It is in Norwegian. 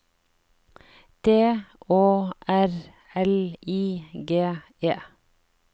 D Å R L I G E